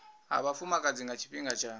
ha vhafumakadzi nga tshifhinga tsha